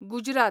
Gujarat